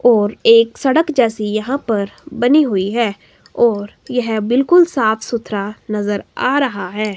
और एक सड़क जैसी यहां पर बनी हुई है और यह बिल्कुल साफ सुथरा नजर आ रहा है।